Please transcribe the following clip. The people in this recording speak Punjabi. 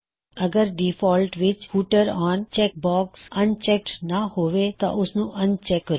ਅੱਗਰ ਡਿਫਾਲਟ ਵਿੱਚ ਫੁਟਰ ਔਨ ਚੈੱਕਬਾਕਸ ਅਨਚੈੱਕਡ ਨਾ ਹੋਵੇ ਤਾਂ ਓਸਨੂੰ ਅਨਚੈੱਕ ਕਰੋ